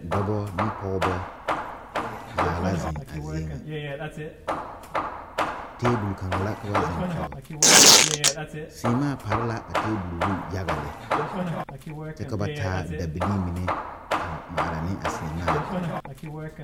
Dɔba ne pɔgeba zaa zeŋ a zie ŋa table kaŋa la ka ba zeŋ koge seemaa pare la a table zu yaga lɛ kyɛ ka ba taa dabilii mine avŋmaara ne a seemaa dire